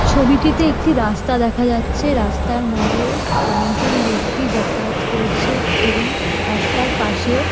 ছবিটিতে একটি রাস্তা দেখা যাচ্ছে রাস্তার মাঝে অনেকজন ব্যক্তি যাতায়াত করছে এবং রাস্তার পাশে--